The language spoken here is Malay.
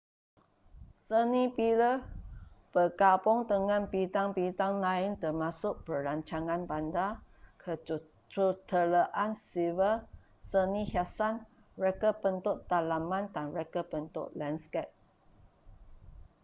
seni bina bergabung dengan bidang-bidang lain termasuk perancangan bandar kejuruteraan sivil seni hiasan reka bentuk dalaman dan reka bentuk landskap